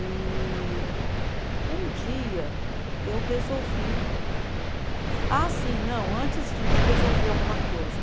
E 9pausa), um dia eu resolvi. Ah, sim, não, antes de de resolver alguma coisa.